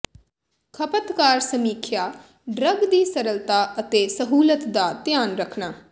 ਖਪਤਕਾਰ ਸਮੀਖਿਆ ਡਰੱਗ ਦੀ ਸਰਲਤਾ ਅਤੇ ਸਹੂਲਤ ਦਾ ਧਿਆਨ ਰੱਖਣਾ